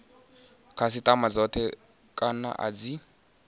khasitama dzothe kana a dzi